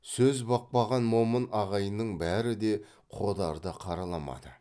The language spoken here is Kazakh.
сөз бақпаған момын ағайынның бәрі де қодарды қараламады